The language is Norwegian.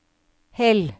Hell